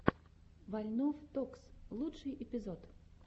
вольнов токс лучший эпизод